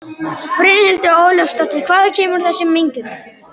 Brynhildur Ólafsdóttir: Hvaðan kemur þessi mengun?